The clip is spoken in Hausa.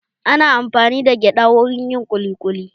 Ana amfani da gyada wurin yin kuli kuli